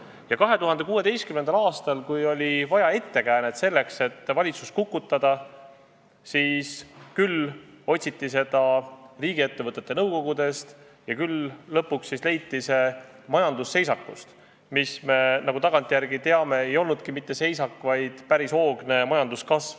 Ja 2016. aastal, kui oli vaja ettekäänet selleks, et valitsus kukutada, siis otsiti seda riigiettevõtete nõukogudest ja lõpuks leiti see majandusseisakust, mis, nagu me tagantjärele teame, ei olnudki mitte seisak, vaid päris hoogne majanduskasv.